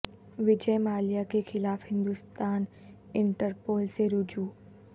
وجئے مالیا کے خلاف Hindustan Interpol سے رجوع